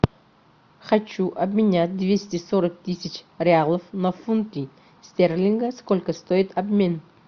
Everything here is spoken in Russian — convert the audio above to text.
хочу обменять двести сорок тысяч реалов на фунты стерлингов сколько стоит обмен